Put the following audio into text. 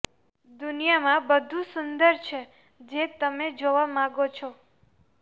દુનિયામાં બધુ સુંદર છે જે તમે જોવા માગો છો